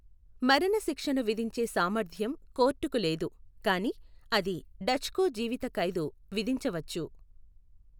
మరణశిక్షను విధించే సామర్థ్యం కోర్టుకు లేదు, కానీ అది డచ్కు జీవిత ఖైదు విధించవచ్చు.